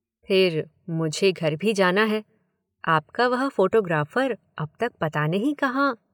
फिर मुझे घर भी जाना है। आपका वह फ़ोटोग्राफ़र अब तक पता नहीं कहाँ